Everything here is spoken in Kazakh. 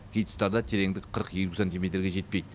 кей тұстарда тереңдік қырық елу сантиметрге жетпейді